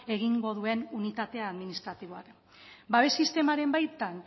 egingo duen unitate administratiboa babes sistemaren baitan